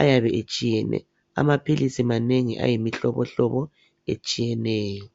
ayabe etshiyene amapills manengi ayimihlobo hlobo etshiyeneyo